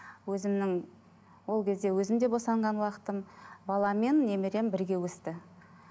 өзімнің ол кезде өзім де босанған уақытым балам мен немерем бірге өсті